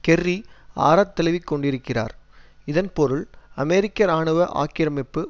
Kerry ஆரத்தழுவிக்கொண்டிருக்கிறார் இதன் பொருள் அமெரிக்க இராணுவ ஆக்கிரமிப்பு